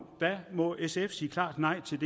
må sf sige klart nej til